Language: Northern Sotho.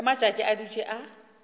ge matšatši a dutše a